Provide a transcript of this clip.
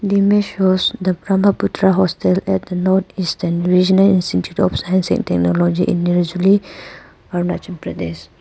The image shows the brahmaputra hostel at the north eastern regional institute of science and technology in nirjuli arunachal pradesh.